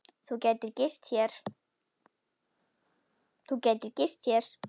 Þú gætir gist hér.